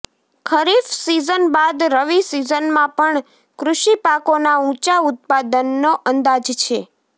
ખરીફ season બાદ રવી સિઝનમાં પણ કૃષિ પાકોના ઊંચા ઉત્પાદનનો અંદાજ છે